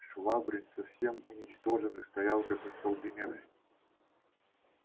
швабрин совсем уничтоженный стоял как остолбеневший